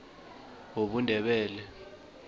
wobundebele